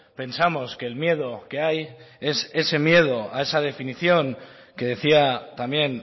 pensamos que el miedo que hay es ese miedo a esa definición que decía también